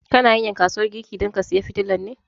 Kana hanyan kasuwan garki don ka saya fitilan ne?